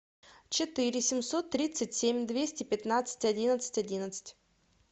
четыре семьсот тридцать семь двести пятнадцать одиннадцать одиннадцать